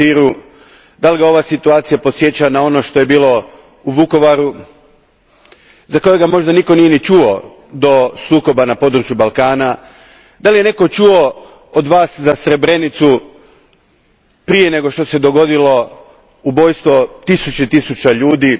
Stieru, podsjeća li ga ova situacija na ono što je bilo u Vukovaru za kojega možda nitko nije ni čuo do sukoba na području Balkana, je li netko od vas čuo za Srebrenicu prije nego što se dogodilo ubojstvo tisuća i tisuća ljudi?